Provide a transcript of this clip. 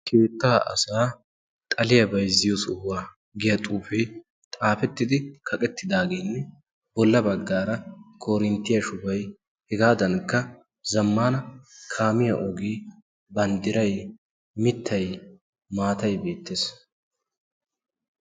keettaa asaa xaliyaa bayzziyo sohuwaa giya xuufee xaafettidi kaqettidaageenne bolla baggaara korinttiyaa shubay hegaadankka zammana kaamiyaa ogee banddirai mittai maatay beettees